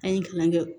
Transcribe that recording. An ye kalan kɛ